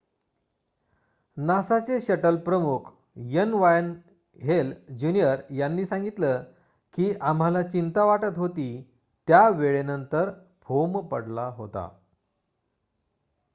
"नासाचे shuttle कार्यक्रम प्रमुख N. Wayne Hale Jr. यांनी सांगितलं की "आम्हाला चिंता वाटत होती त्या वेळेनंतर" फोम पडला होता.